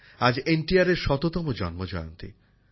আজ N T আরের শততম জন্মজয়ন্তী